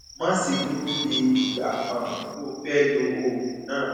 má ṣe dúró de ìgbà um tó o fẹ lo oògùn náà